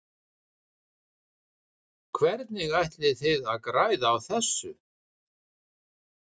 Hvernig ætlið þið að græða á þessu?